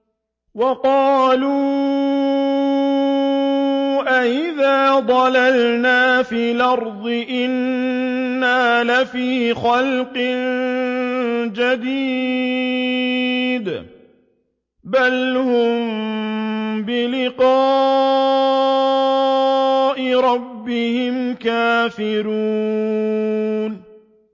وَقَالُوا أَإِذَا ضَلَلْنَا فِي الْأَرْضِ أَإِنَّا لَفِي خَلْقٍ جَدِيدٍ ۚ بَلْ هُم بِلِقَاءِ رَبِّهِمْ كَافِرُونَ